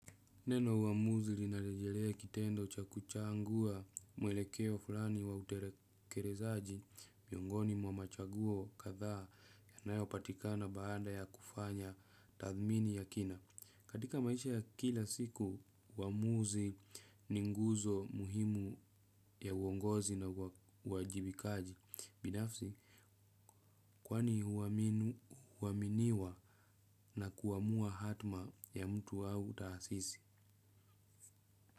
Neno uamuzi lina rejelea kitendo cha kuchangua mwelekeo fulani wa utekelezaji miongoni mwa machaguo kadhaa yanayopatikana baada ya kufanya tathmini ya kina. Katika maisha ya kila siku, uamuzi ni nguzo muhimu ya uongozi na uwajibikaji. Binafsi, kwani huaminiwa na kuamua hatma ya mtu au taasisi?